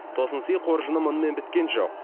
тосынсый қоржыны мұнымен біткен жоқ